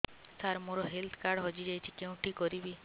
ସାର ମୋର health card ହଜି ଯାଇଛି କେଉଁଠି କରିବି